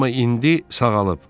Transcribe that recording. Amma indi sağalıb.